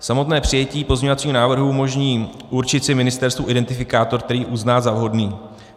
Samotné přijetí pozměňovacího návrhu umožní určit si ministerstvu identifikátor, který uzná za vhodný.